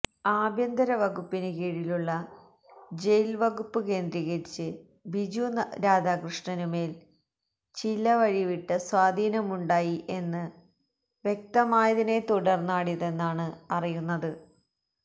ആഭ്യന്തര വകുപ്പിന് കീഴിലുള്ള ജയില്വകുപ്പ് കേന്ദ്രീകരിച്ച് ബിജു രാധാകൃഷ്ണനു മേല് ചിലവഴിവിട്ട സ്വാധീനമുണ്ടായി എന്ന് വ്യക്തമായതിനെ തുടര്ന്നാണിതെന്നാണ് അറിയുന്നത്